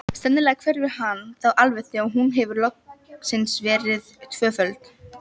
Sennilega hverfur hann þá alveg þegar hún hefur loksins verið tvöfölduð.